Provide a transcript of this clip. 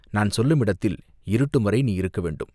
நான் சொல்லும் இடத்தில் இருட்டும் வரை நீ இருக்க வேண்டும்!